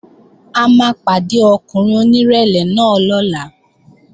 A máa pàdé ọkùnrin onírẹ̀lẹ̀ náà lọ́la